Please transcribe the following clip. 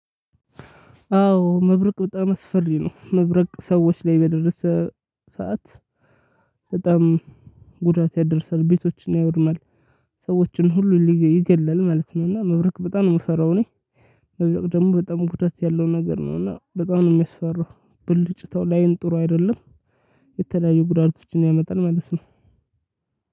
አዎ መብረቅ በጣም አስፈሪ ነው። መብረቅ ሰዎች ላይ በደረሰ ሰዓት በጣም ጉዳት ያደርሳል፣ ቤቶችን ያወድማል፣ ሰዎችን ሁሉ ሊገ ይገላል ማለት ነው። እና መብረቅ በጣም ነው የምፈራው እኔ። በዚህ ወቅት በጣም ጉዳት ያለው ነገር ነው እና በጣም ነው የሚያስፈራው። ብልጭታው ለአይን ጥሩ አይደለም። የተለያዩ ጉዳቶችን ያመጣል ማለት ነው